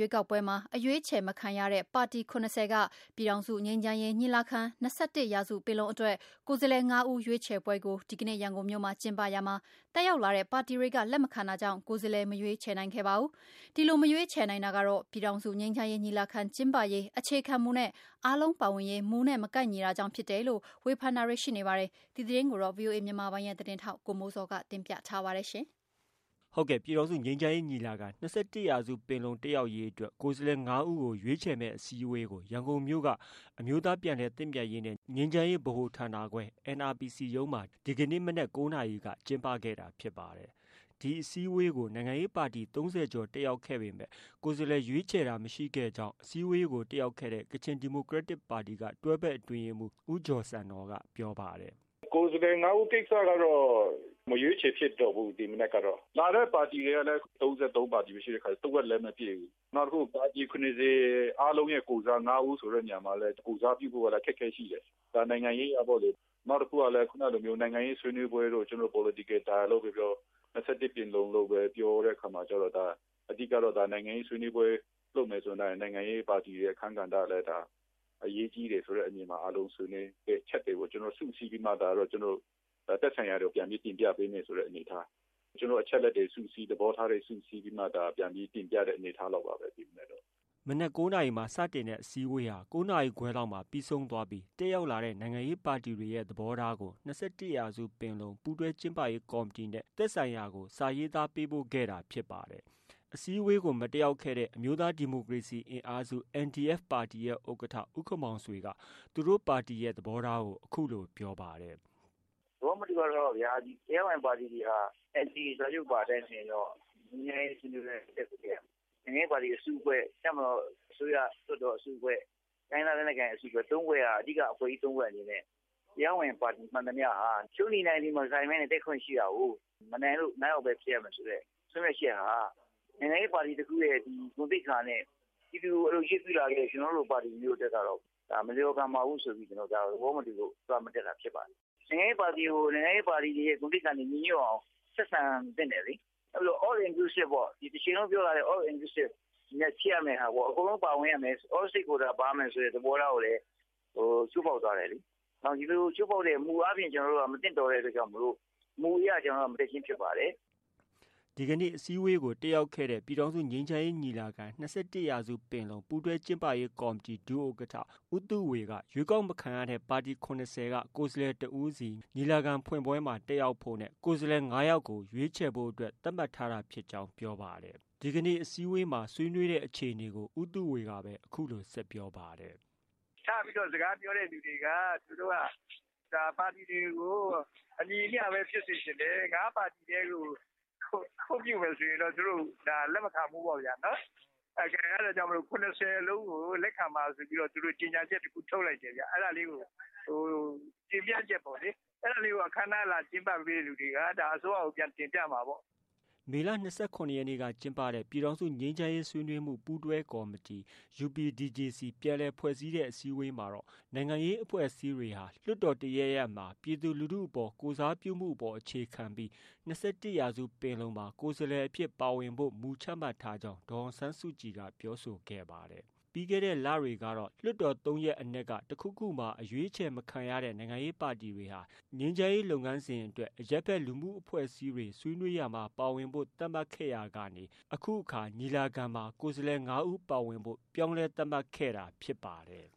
ွေးကောက်ပွဲမှာ ရွေးချယ်မခံရတဲ့ ပါတီ ၇၀ က ပြည်ထောင်စုငြိမ်းချမ်းရေးညီလာခံ-၂၁ ရာစုပင်လုံအတွက် ကိုယ်စားလှယ် ၅ဦးရွေးခြယ်ပွဲကို ဒီကနေ့ ရန်ကုန်မြို့မှာ ကျင်းပရာမှာ တက်ရောက်လာတဲ့ ပါတီတွေက လက်မခံတာကြောင့် ကိုယ်စားလှယ် မရွေးချယ်နိုင်ခဲ့ပါဘူး။ ဒီလို မရွေးခြယ်နိုင်တာကတော့ ပြည်ထောင်စုငြိမ်းချမ်းရေးညီလာခံကျင်းပရေးအခြေခံမူနဲ့ အားလုံးပါဝင်ရေးမူနဲ့ မကိုက်ညီတာကြောင့်ဖြစ်တယ်လို့ ဝေဖန်တာတွေ ရှိနေပါတယ်။ ဒီသတင်းကိုတော့ ဗွီအိုအေမြန်မာပိုင်းရဲ့သတင်းထောက် ကိုမိုးဇော်က တင်ပြထားပါတယ်။ ပြည်ထောင်စုငြိမ်းချမ်းရေးညီလာခံ-၂၁ရာစုပင်လုံတက်ရောက်မယ့် ကိုယ်စားလှယ် ၅ဦးကို ရွေးချယ်မယ့်အစည်းအဝေးကို ရန်ကုန်မြို့က အမျိုးသားပြန်လည်သင့်မြတ်ရေးနဲ့ ငြိမ်းချမ်းရေးဗဟို ဌာနခွဲမှာ ဒီကနေ့ မနက် ၉ နာရီက ကျင်းပခဲ့တာဖြစ်ပါတယ်။ ဒီအစည်းအဝေးကို ပါတီ ၃၀ကျော်တက်ရောက်ခဲ့ပေမဲ့ ကိုယ်စားလှယ်ရွေးခြယ်တာ မရှိခဲ့ကြောင်း အစည်းအဝေးကို တက်ရောက်ခဲ့တဲ့ ကချင်ဒီမိုကရက်တစ်ပါတီက တွဲဘက်အတွင်းရေးမှုး ဦးဂျော်ဆန်နော်က ပြောပါတယ်။ “ကိုယ်စားလှယ် ၅ ဦးကိစ္စကတော့ မရွေးချယ်ဖြစ်တော့ဘူး ဒီမနက်ကတော့။ လာတဲ့ပါတီတွေလည်း ၃၃ ပါတီပဲ ရှိတဲ့အခါကျတော့ တဝက်လည်းမပြည့်ဘူး။ နောက်တခုက ပါတီ ၇၀ အားလုံးရဲ့ကိုယ်စား ၅ ဦးဆိုတဲ့နေရာမှာလည်း ကိုယ်စားပြုဖို့အခက်အခဲရှိတယ် ဒါနိုင်ငံရေးအရပေါ့လေ။ နောက်တခုက ခုနပြောတဲ့ နိုင်ငံရေးဆွေးနွေးပွဲတို့ ၊ ကျနော်တို့ political dialogue လို့ပဲပြောပြော ခုနက ၂၁ ရာစုပင်လုံလို့ပြောတဲ့အခါကျတော့ အဓိကတော့ နိုင်ငံရေးဆွေးနွေးပွဲလုပ်မယ်ဆိုရင်တော့ နိုင်ငံရေးပါတီ အခန်း ကဏ္ဍ လည်းဒါ အရေးကြီးတယ်ဆိုတဲ့အမြင်မှာ အားလုံး ဆွေးနွေးချက်တွေကို စုပြီးတော့ သက်ဆိုင်ရာတွေကို ပြန်ပြီးတော့ တင်ပြပေးမယ် ဆိုတဲ့အနေအထား။ ကျနော်တို့အချက်အလက်တွေစုစည်း သဘောထားတွေ စုပြီးမှ ဒါပြန်ပြီး သိရတဲ့အနေအထားလောက်ပါပဲ ဒီမနက်တော့။” မနက် ၉နာရီမှာစတင်တဲ့ အစည်းအဝေးဟာ ၉နာရီခွဲလောက်မှပြီးဆုံးသွားပြီး တက်ရောက်လာတဲ့ နိုင်ငံရေးပါတီတွေရဲ့သဘောထားတွေကို ၂၁ရာစုပင်လုံ ပူးတွဲကျင်းပရေး ကော် မတီ နဲ့ သက်ဆိုင်ရာကို စာရေးသားပေးပို့ခဲ့တာဖြစ်ပါတယ်။ အစည်းအဝေးကို မတက်ရောက်ခဲ့တဲ့ အမျိုးသားဒီမိုကရေစီအင်အားစု NDF ပါတီရဲ့ ဥက္ကဌ ဦးခင်မောင်ဆွေက သူတို့ ပါတီ သဘောထားကို အခုလို ပြောပါတယ်။ “သဘောမတူတဲ့အချက်ကတော့ဗျာ ဒီ တရားဝင်ပါတီတွေဟာ NCA စာချုပ်ပါအတိုင်းဆိုရင်တော့ ဒီငြိမ်းချမ်းရေးဆွေးနွေးပွဲကို တက်ကိုတက်ရမယ်။ နိုင်ငံရေးပါတီအစုအဖွဲ့၊ တပ်မတော်၊ အစိုးရ လွတ်တော်အစုအဖွဲ့ ၊ တိုင်းရင်းသားလက်နက်ကိုင်အစုအဖွဲ့တွေဟာ အဓိကအဖွဲ့ကြီး ၃ တွေအနေနဲ့ တရားဝင်ပါတီမှန်သမျှဟာ ရှုံးသည်နိုင်သည် မဆိုင်ဘဲနဲ့ တက်ခွင့်ရှိတာကို မနိုင်လို့ ၅ ယောက်ပဲဖြစ်ရမယ်ဆိုတဲ့ သတ်မှတ်ချက်ဟာ နိုင်ငံရေးပါတီ တခုရဲ့ ဂုဏ်သိက္ခာနဲ့ ပြည်သူကိုကိုယ်စားပြုတဲ့ပါတီတခုအနေနဲ့ ဒါမလျှော်ဘူးဆိုပြီး သွားမတက်တာဖြစ်ပါတယ်။ နိုင်ငံရေးပါတီကို နိုင်ငံရေးပါတီဂုဏ်သိက္ခာနဲ့ ညီညွှတ်အောင် ဆက်ဆံသင့်တယ်လေ။ နောက်ပြီးတော့ All inclusive ပေါ့ ဒါတချိန်လုံးပြောလာတာ All inclusive အနေနဲ့ဖြစ်ရမယ့်ဟာကို အားလုံးပါဝင်ရမယ် All stakeholders တွေပါဝင်ရမယ့် သဘောထားကိုလည်း ချိုးဖောက်သွားတယ်လေ။ ဒီလို ချိုးဖောက်တာ မူအားဖြင့် မသင့်တော်တဲ့အတွက်ကြောင့်မို့လို့ မူအရ ကျနော်တို့ မတက်ခြင်းဖြစ်ပါတယ်။” ဒီကနေ့ အစည်းအဝေးကို တက်ရောက်ခဲ့တဲ့ ပြည်ထောင်စုငြိမ်းချမ်းရေးညီလာခံ-၂၁ရာစုပင်လုံ ပူးတွဲကျင်းပရေးကော်မတီ ဒုဥက္ကဌ ဦးသုဝေက ရွေးကောက်မခံရတဲ့ ပါတီ ၇၀က ကိုယ်စားလှယ် တဦးစီ ညီလာခံဖွင့်ပွဲမှာ တက်ရောက်ဖို့နဲ့ ကိုယ်စားလှယ် ၅ယောက် ရွေးခြယ်ဖို့ သတ်မှတ်ထားတာဖြစ်ကြောင်း ပြောပါတယ်။ ဒီနေ့ အစည်းအဝေးတက်ရောက်ဆွေးနွေးတဲ့အခြေအနေကို ဦးသုဝေက အခုလို ဆက်ပြောပါတယ်။ “စပြီးတော့ စကားပြောတဲ့သူတွေက သူတို့က ဒါပါတီတွေကို အညီအမျှပဲ ဖြစ်စေချင်တယ်။ ၅ ပါတီတည်း ခွင့်ပြုမယ်ဆိုရင်တော့ ဒါကိုလက်မခံနိုင်ဘူးပေါ့ဗျာ အဲဒါကြောင့်မို့လို့ ၇၀ လုံး ကိုလက်ခံပါဆိုပြီးတော့ သူတို့ ကြေညာချက်တခုထုတ်လိုက်တယ်ခင်ဗျ။ အဲဒါလေးကိုတင်ပြချက်ပေါ့လေ အဲဒါကို အခမ်းအနားလာကျင်းပပေးတဲ့သူတွေက ဒါအစိုးရကို ပြန်တင်ပြမှာပေါ့နော်။” မေလ ၂၇ ရက်နေ့က ကျင်းပတဲ့ ပြည်ထောင်စုငြိမ်းချမ်းရေးဆွေးနွေးမှု ပူးတွဲကော်မတီUPDJC ပြန်လည်ဖွဲ့စည်းတဲ့ အစည်းအဝေးမှာတော့ နိုင်ငံရေးအဖွဲ့အစည်းတွေဟာ လွှတ်တော်တရပ်ရပ်မှာ ပြည်သူလူထုအပေါ် ကိုယ်စားပြုမှုအပေါ် အခြေခံပြီး ၂၁ရာစုပင်လုံမှာ ကိုယ်စားလှယ်အဖြစ်ပါဝင်ဖို့ မူချမှတ်ထားကြောင်း ဒေါ်အောင်ဆန်းစုကြည်က ပြောဆိုခဲ့ပါတယ်။ ပြီးခဲ့တဲ့လတွေကတော့ လွှတ်တော် ၃ရပ်အနက် တခုခုမှာ အရွေးမခံရတဲ့ နိုင်ငံရေးပါတီတွေဟာ ငြိမ်းချမ်းရေးလုပ်ငန်းစဉ်အတွက် အရပ်ဖက်လူမှုအဖွဲ့အစည်းတွေနဲ့ ဆွေးနွေးပွဲမှာ ပါဝင်ဖို့ သတ်မှတ်ခဲ့ရာကနေ၊ညီလာခံထဲ ကိုယ်စားလှယ် ၅ဦး ပါဝင်ဖို့ ပြောင်းလဲ သတ်မှတ်ခဲ့တာဖြစ်ပါတယ်